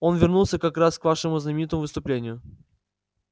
он вернулся как раз к вашему знаменитому выступлению